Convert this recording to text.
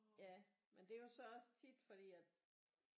Ja men det er jo så også tit fordi at